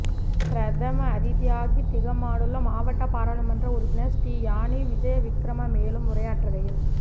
பிரதம அதிதியாக திகாமடுல்ல மாவட்ட பாராளுமன்ற உறுப்பினர் ஸ்ரீயானி விஜயவிக்கிரம மேலும் உரையாற்றுகையில்